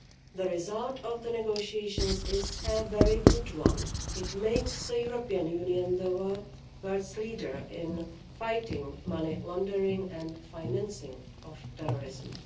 The result of the negotiations is a very good one it makes the European Union the world leader in fighting money laundering and financing of terrorism.